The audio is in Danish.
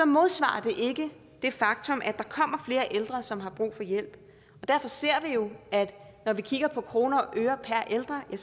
modsvarer det ikke det faktum at der kommer flere ældre som har brug for hjælp og derfor ser vi jo når vi kigger på kroner og øre per ældre at